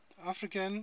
african